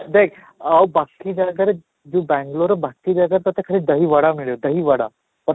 ଦେଖ ଆଉ ବାକି ଜାଗା କରେ ଯଉ ବାଙ୍ଗାଲୁରର ବାକି ଜାଗା ତୋତେ ଖାଲି ଦହି ବଡା ମିଳେ ଦହି ବଡା but